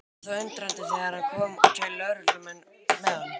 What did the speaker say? Ég varð þó undrandi þegar hann kom og tveir lögreglumenn með honum.